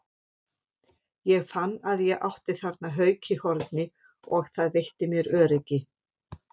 Ég fann að ég átti þarna hauka í horni og það veitti mér öryggi.